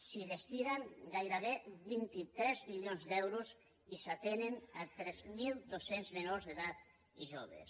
s’hi destinen gairebé vint tres milions d’euros i s’atenen tres mil dos cents menors d’edat i joves